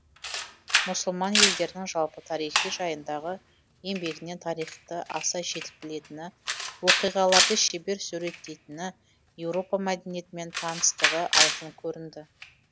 мұсылман елдерінің жалпы тарихы жайындағы еңбегінен тарихты аса жетік білетіні оқиғаларды шебер суреттейтіні еуропа мәдениетімен таныстығы айқын көрінді